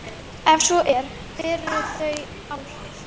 Ef svo er, hver eru þá þau áhrif?